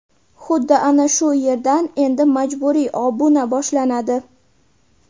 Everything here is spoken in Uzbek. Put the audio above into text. Xuddi ana shu yerdan endi majburiy obuna boshlanadi.